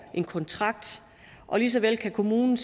en kontrakt lige så vel kan kommunen